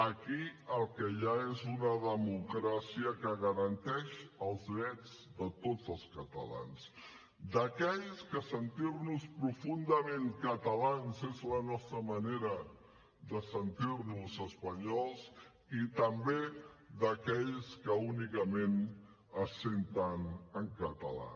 aquí el que hi ha és una democràcia que garanteix els drets de tots els catalans d’aquells que sentir nos profundament catalans és la nostra manera de sentir nos espanyols i també d’aquells que únicament es senten en català